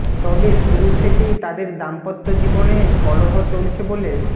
তবে শুরু থেকেই তাদের দাম্পত্য জীবনে কলহ চলছে বলে